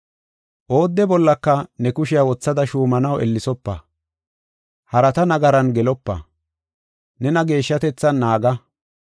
Oodde bollaka ne kushiya wothada shuumanaw ellesopa. Harata nagaran gelopa; nena geeshshatethan naaga.